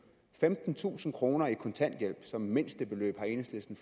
femtentusind kroner i kontanthjælp som mindstebeløb enhedslisten